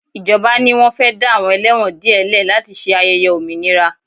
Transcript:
Ìjọba ni wọ́n fẹ́ dá àwọn ẹlẹ́wọ̀n díẹ̀ lẹ̀ láti ṣe ayẹyẹ òmìnira